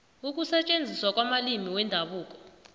ukusetjenziswa kwamalimi wendabuko